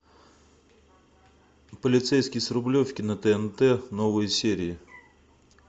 полицейский с рублевки на тнт новые серии